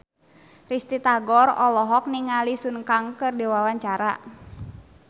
Risty Tagor olohok ningali Sun Kang keur diwawancara